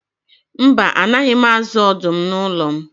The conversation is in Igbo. Mba, a naghị m azụ ọdụm n'ụlọ m.